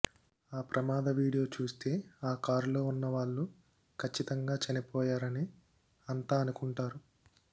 ఆ ప్రమాద వీడియో చూస్తే ఆ కారులో ఉన్నవాళ్లు కచ్చితంగా చనిపోయారనే అంతా అనుకుంటారు